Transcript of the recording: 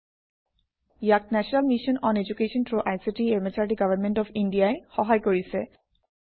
ইয়াক national mission on education through ICT MHRD government of India ই সহায় কৰিছে